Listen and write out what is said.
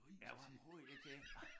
Ja hvad bruger I det til?